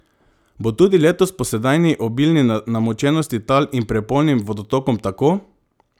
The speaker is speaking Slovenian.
Bo tudi letos po sedanji obilni namočenosti tal in prepolnim vodotokom tako?